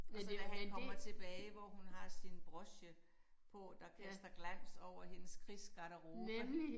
Og så da han kommer tilbage hvor hun har sin broche på der kaster glans over hendes krigsgaderobe